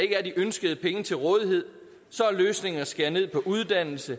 er de ønskede penge til rådighed så er løsningen at skære ned på uddannelse